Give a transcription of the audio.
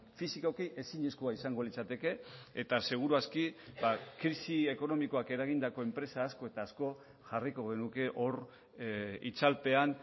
fisikoki ezinezkoa izango litzateke eta seguru aski krisi ekonomikoak eragindako enpresa asko eta asko jarriko genuke hor itzalpean